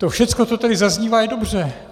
To všechno, co tady zaznívá, je dobře.